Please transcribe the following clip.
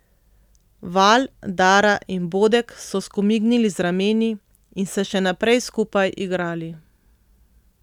Val, Dara in Bodek so skomignili z rameni in se še naprej skupaj igrali.